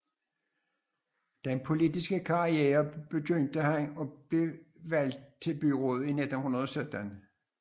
Den politiske karriere begyndte da han blev valgt til byrådet i 1917